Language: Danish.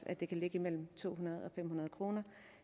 at det kan ligge mellem to hundrede og fem hundrede kr